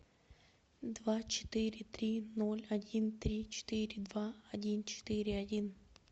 два четыре три ноль один три четыре два один четыре один